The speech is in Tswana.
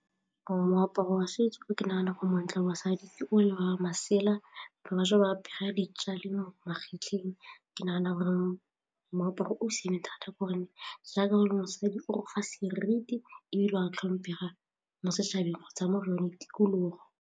Gore moaparo wa setso o ke nagana gore montle mosadi fa o le banne masela, bašwa ba apere ya dijalo mo magetleng ke nagana gore moaparo o siame thata gore ne jaaka gore mosadi o fa seriti, o a tlhomphega mo setšhabeng kgotsa mo re leng, tikologo.